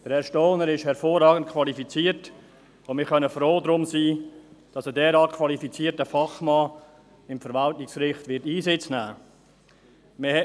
Herr Stohner ist hervorragend qualifiziert, und wir können froh sein, dass ein derart qualifizierter Fachmann im Verwaltungsgericht Einsitz nehmen wird.